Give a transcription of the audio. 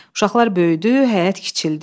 Uşaqlar böyüdü, həyət kiçildi.